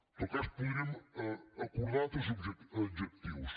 en tot cas podríem acordar altres adjectius